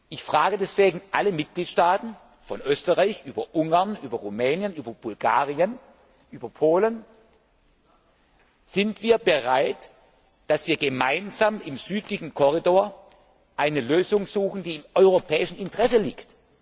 Ich frage deswegen alle Mitgliedstaaten von Österreich über Ungarn, über Rumänien, über Bulgarien, über Polen Sind wir bereit, dass wir gemeinsam im südlichen Korridor eine Lösung suchen, die im europäischen Interesse liegt?